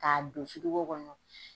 Ka don firigo kɔnɔ.